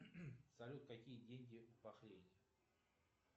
салют какие деньги в бахрейне